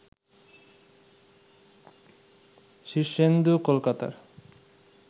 শীর্ষেন্দু কলকাতার